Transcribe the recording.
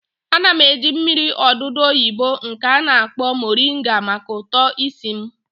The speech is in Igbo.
Ana m eji mmiri odudu oyibo nke a na-akpọ moringa maka uto isi m